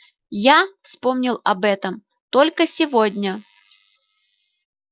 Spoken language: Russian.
я вспомнил об этом только сегодня